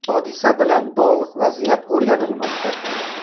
Hodisa bilan bog‘liq vaziyat o‘rganilmoqda.